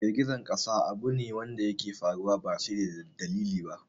Girgizar ƙasa abu ne wadda yake faruwa ba sai da dalili ba